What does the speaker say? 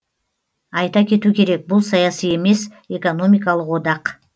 айта кету керек бұл саяси емес экономикалық одақ